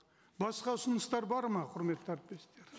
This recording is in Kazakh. басқа ұсыныстар бар ма құрметті әріптестер